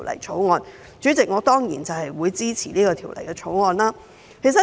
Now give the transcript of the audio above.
主席，我當然支持《條例草案》。